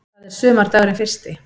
Það er sumardagurinn fyrsti.